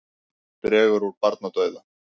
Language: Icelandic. Dregur úr barnadauða